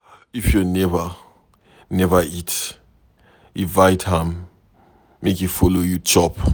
If your neighbor neva eat, invite am make e follow you chop.